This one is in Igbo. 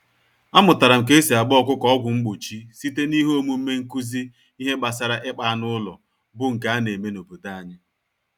Amụtaram K'esi agba ọkụkọ ọgwụ mgbochi, site n'ihe omume nkụzi ìhè gbasara ịkpa anụ ụlọ, bu nke aneme n'obodo anyị.